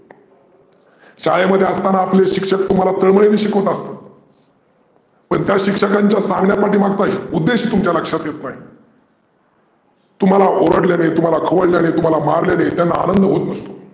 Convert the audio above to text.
शाळेमध्ये असताना आपले शिक्षक तुम्हाला तळमळीने शिकवत असतात. पण त्या शिक्षकांच्या सांगण्यामागचा उद्देश तुमच्या लक्षात येत नाही. तुम्हाला ओरडल्याने, तुम्हाला खवळल्याने, तुम्हाला मारल्याने त्यांना आनंद होत नसतो.